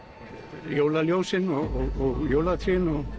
jólaljósin og jólatrén